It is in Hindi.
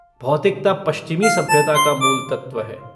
भौतिकता पश्चिमी सभ्यता का मूल तत्व है।